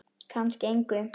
Kannski engu.